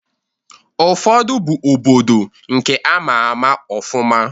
Ụfọdụ bụ obodo nke ama ama ọfụma.